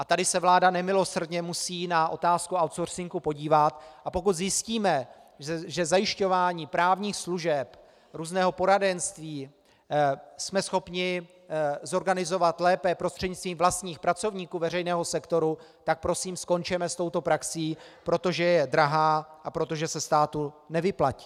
A tady se vláda nemilosrdně musí na otázku outsourcingu podívat, a pokud zjistíme, že zajišťování právních služeb, různého poradenství jsme schopni zorganizovat lépe prostřednictvím vlastních pracovníků veřejného sektoru, tak prosím skončeme s touto praxí, protože je drahá a protože se státu nevyplatí.